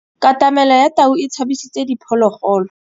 Katamêlô ya tau e tshabisitse diphôlôgôlô.